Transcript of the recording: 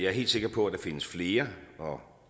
er helt sikker på at der findes flere og